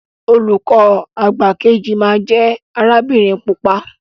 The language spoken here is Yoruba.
Olùkọ àgbà keji ma jẹ arabinrin pupa.